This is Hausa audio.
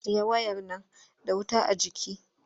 Ajiye wayar nan da wuta a jiki!